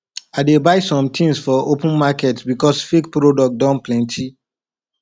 i no dey buy sometins for open market because fake product don plenty